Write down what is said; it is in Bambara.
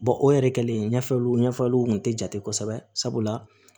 o yɛrɛ kɛlen ɲɛfɔliw ɲɛfɔliw kun tɛ jate kosɛbɛ sabula